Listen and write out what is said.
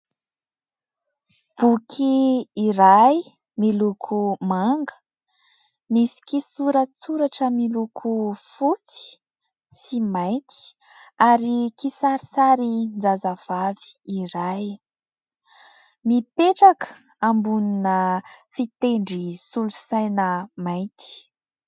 Boky iray miloko manga, misy kisoratsoratra miloko fotsy sy mainty ary kisarisarin-jazavavy iray mipetraka ambonina fitendry solosaina mainty.